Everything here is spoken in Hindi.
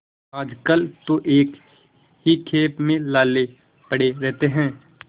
आजकल तो एक ही खेप में लाले पड़े रहते हैं